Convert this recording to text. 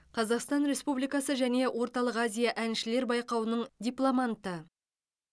қазақстан республикасы және орталық азия әншілер байқауының дипломанты